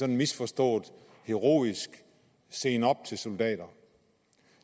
en misforstået heroisme og seen op til soldater